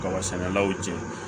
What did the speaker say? Kaba sɛnɛlaw cɛ